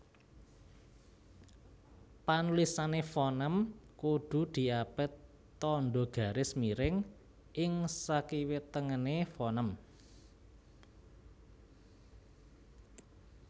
Panulisane fonem kudu diapit tandha garis miring ing sakiwatengene fonem